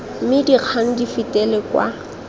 mme dikgang di fetele kwa